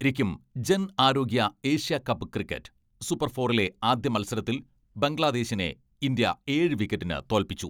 രിക്കും ജൻ ആരോഗ്യ ഏഷ്യ കപ്പ് ക്രിക്കറ്റ്, സൂപ്പർ ഫോറിലെ ആദ്യ മത്സ രത്തിൽ, ബംഗ്ലാദേശിനെ ഇന്ത്യ ഏഴ് വിക്കറ്റിന് തോൽപ്പിച്ചു.